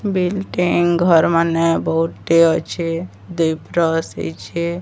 Building ଘର୍ ମାନେ ବୋହୁଟେ ଅଛେ। ଦୁଇ ପ୍ରସ୍ ହେଇଛେ।